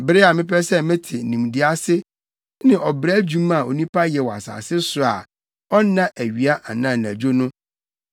Bere a mepɛ sɛ mɛte nimdeɛ ase ne ɔbrɛ adwuma a onipa yɛ wɔ asase so a ɔnna awia anaa anadwo no,